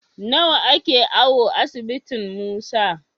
Nawa ake awo asibitin Musa?